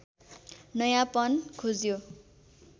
नयाँपन खोज्यो